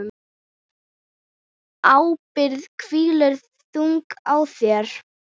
Ábyrgð hvílir þung á þér.